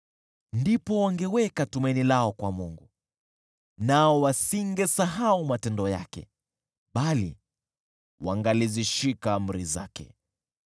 Ndipo wangeweka tumaini lao kwa Mungu, nao wasingesahau matendo yake, bali wangalizishika amri zake.